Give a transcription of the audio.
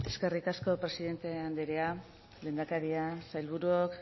eskerrik asko presidente andrea lehendakaria sailburuok